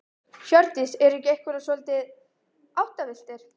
Hjördís: Eru ekki einhverjir svolítið áttavilltir?